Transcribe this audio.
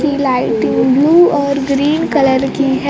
तीन light blue और green colour की है।